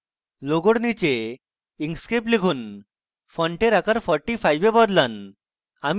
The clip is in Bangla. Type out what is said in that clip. logo নীচে inkscape লিখুন ফন্টের আকার 45 এ বদলান